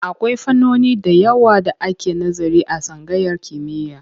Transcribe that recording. Akwai fannoni da yawa da ake nazari a tsangayar kimiyya.